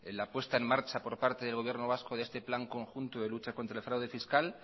la puesta en marcha por parte del gobierno vascos de este plan conjunto de lucha contra el fraude fiscal